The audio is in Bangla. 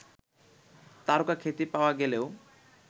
তারকাখ্যাতি পাওয়া গেলেও